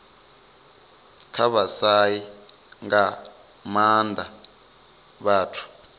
kha vhashai nga maanda vhathu